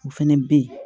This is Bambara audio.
O fɛnɛ bɛ ye